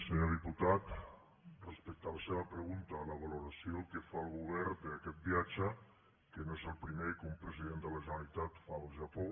senyor diputat respecte a la seva pregunta la valoració que fa el govern d’aquest viatge que no és el primer que un president de la generalitat fa al japó